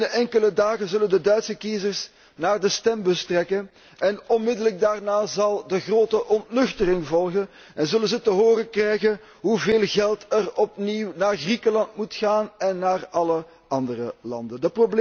Binnen enkele dagen zullen de Duitse kiezers naar de stembus trekken, en onmiddellijk daarna zal de grote ontnuchtering volgen en zullen zij te horen krijgen hoeveel geld er opnieuw naar Griekenland moet gaan en naar alle andere landen.